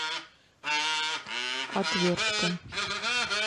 отвертка